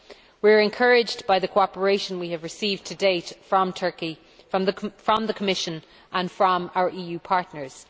We are encouraged by the cooperation we have received to date from Turkey, from the Commission and from our EU partners.